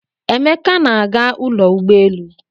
Emeka na-aga ụlọ ụgbọelu.